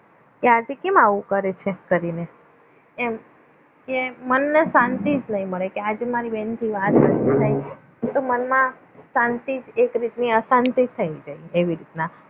કે આજે કેમ આવું કરે છે કરીને એમ કેમ મન નો શાંતિ જ નહીં મળે આજે મારે બેન જા વાત તો મનમાં શાંતિ એક રીતની અશાંતિ થઈ જાય એવી રીતના